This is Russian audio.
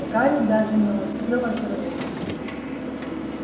гарри даже не успел обернуться